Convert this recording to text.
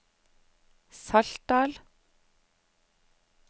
Saltdal